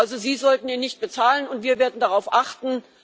Also sollten sie ihn nicht bezahlen, und wir werden darauf achten.